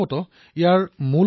আমাৰ আত্মবিশ্বাস কম হৈ পৰে